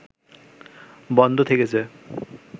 বন্ধ থেকেছে